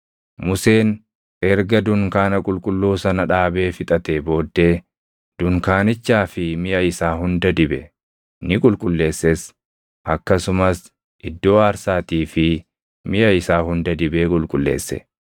Museen erga dunkaana qulqulluu sana dhaabee fixatee booddee, dunkaanichaa fi miʼa isaa hunda dibe; ni qulqulleesses. Akkasumas iddoo aarsaatii fi miʼa isaa hunda dibee qulqulleesse.